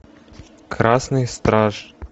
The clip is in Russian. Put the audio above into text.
красный страж